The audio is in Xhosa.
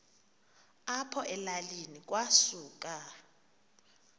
apho elalini kwasuka